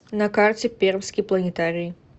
на карте пермский планетарий